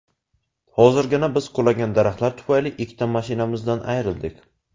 Hozirgina biz qulagan daraxtlar tufayli ikkita mashinamizdan ayrildik”.